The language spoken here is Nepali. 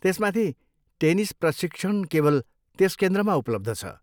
त्यसमाथि, टेनिस प्रशिक्षण केवल त्यस केन्द्रमा उपलब्ध छ।